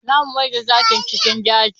Za mu maida zakin cikin keji.